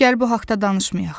Gəl bu haqda danışmayaq.